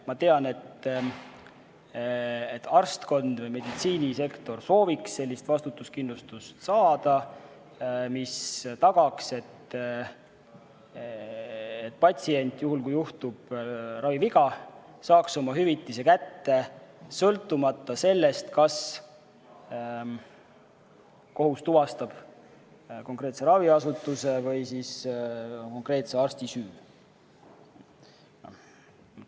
Ma tean, et arstkond või meditsiinisektor sooviks saada sellist vastutuskindlustust, mis tagaks, et patsient, juhul kui juhtub raviviga, saaks oma hüvitise kätte sõltumata sellest, kas kohus tuvastab konkreetse raviasutuse või konkreetse arsti süü.